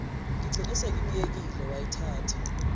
ngigcine sengimyekile wayithatha